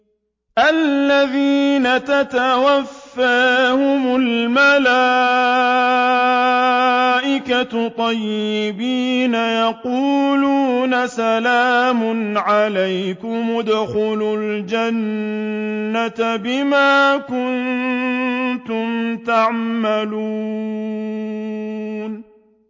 الَّذِينَ تَتَوَفَّاهُمُ الْمَلَائِكَةُ طَيِّبِينَ ۙ يَقُولُونَ سَلَامٌ عَلَيْكُمُ ادْخُلُوا الْجَنَّةَ بِمَا كُنتُمْ تَعْمَلُونَ